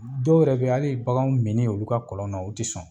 Dɔw yɛrɛ beyi hali baganw mini olu ka kɔlɔn na u tɛ sɔn.